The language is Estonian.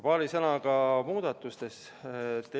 Paari sõnaga muudatustest.